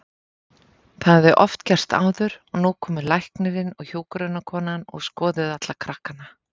Það hafði oft gerst áður og nú komu læknirinn og hjúkrunarkonan og skoðuðu alla krakkana.